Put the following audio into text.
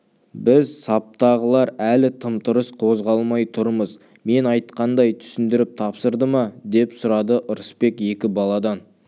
біз саптағылар әлі тым-тырыс қозғалмай тұрмыз мен айтқандай түсіндіріп тапсырды ма деп сұрады ырысбек екі баладан